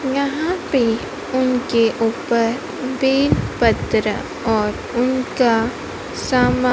यहां पे उनके ऊपर बेलपत्र और उनका सामान--